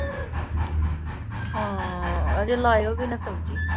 ਹਾਂ ਹਜੇ ਲਾਇਓ ਵੀ ਨਾ ਸਬਜ਼ੀ।